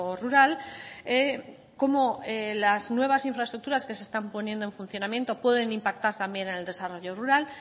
rural cómo las nuevas infraestructuras que se están poniendo en funcionamiento pueden impactar también en el desarrollo rural